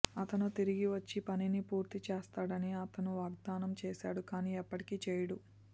అతను తిరిగి వచ్చి పనిని పూర్తి చేస్తాడని అతను వాగ్దానం చేస్తాడు కానీ ఎప్పటికీ చేయడు